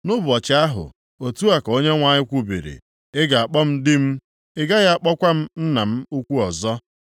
“Nʼụbọchị ahụ,” otu a ka Onyenwe anyị kwubiri, “Ị ga-akpọ m ‘Di m,’ ị gaghị akpọkwa m ‘nna m ukwu,’ ọzọ. + 2:16 Maọbụ, Baal nʼasụsụ Hibru